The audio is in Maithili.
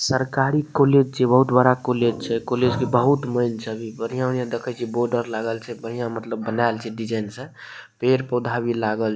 सरकारी कॉलेज छिए बहुत बड़ा कॉलेज छै ए कॉलेज के बहुत मैएन छै अभी बढ़िया बढ़िया देखे छीए बॉर्डर लागल छैबढ़िया मतलब बनायाल छै डिजाइन से पेड़ -पौधा भी लागल --